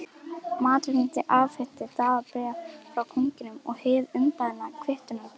Marteinn afhenti Daða bréf frá konungi og hið umbeðna kvittunarbréf.